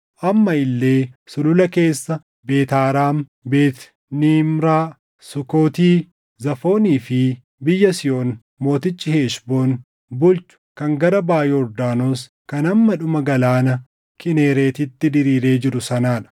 amma illee sulula keessa, Beet Haaraam, Beet Niimraa, Sukooti, Zaafoonii fi biyya Sihoon mootichi Heshboon bulchu kan gara baʼa Yordaanos kan hamma dhuma Galaana Kinereetitti diriiree jiru sanaa dha.